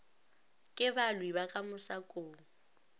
ke balwi ba ka mosakong